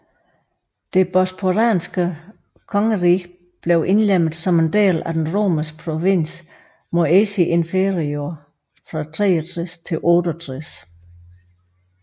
Det bosporanske kongerige blev indlemmet som en del af den romerske provins Moesia Inferior fra 63 til 68